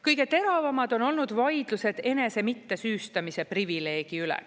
Kõige teravamad on olnud vaidlused enese mittesüüstamise privileegi üle.